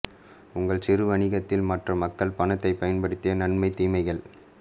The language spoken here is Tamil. உங்கள் சிறு வணிகத்தில் மற்ற மக்கள் பணத்தை பயன்படுத்தி நன்மை தீமைகள்